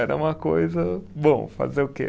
Era uma coisa. Bom, fazer o quê?